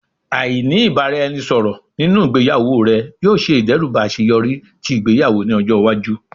Aini ibaraẹnisọrọ ninu igbeyawo rẹ yoo ṣe idẹruba aṣeyọri ti igbeyawo ni ọjọ iwaju